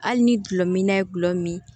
Hali ni gulɔmin na ye gulɔ min